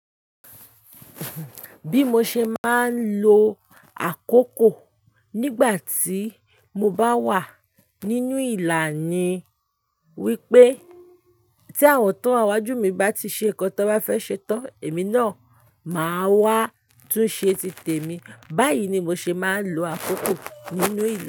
Bí mo ṣe máa ń lo àkókò nígbà tí mo bá wà nínú ìlà ni wípé tí àwọn tán wa niwájú mi bá ti ṣe nǹkan tán bá fẹ́ ṣe tán, èmi náà ma wá tún ṣe ti tèmi. Báyìí ni mo ṣe máa ń lo àkókò nínú ìlà.